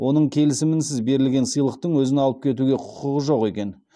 оның келісімінсіз берілген сыйлықтың өзін алып кетуге құқығы жоқ екен